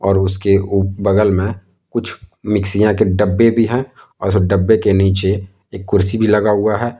और उसके वो बगल में कुछ मिक्सियां के डब्बे भी हैं और डब्बे के नीचे एक कुर्सी भी लगा हुआ है।